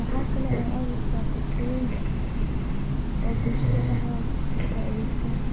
oo wexey aburta fursadoyin shaqo oo bulshdada dexdoda.